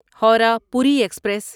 Howrah Puri express